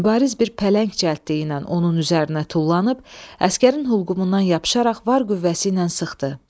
Mübariz bir pələng cəldliyi ilə onun üzərinə tullanıb, əsgərin hulqumundan yapışaraq var qüvvəsi ilə sıxdı.